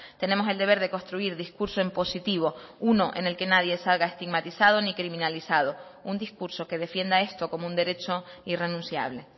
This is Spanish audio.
tenemos el deber de construir discurso en positivo uno en el que nadie salga estigmatizado ni criminalizado un discurso que defienda esto como un derecho irrenunciable